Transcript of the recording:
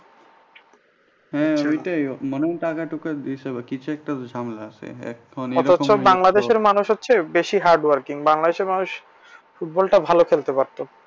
অথচ বাংলাদেশের মানুষ হচ্ছে বেশি hard working বাংলদেশের মানুষ football টা ভালো খেলতে পারতো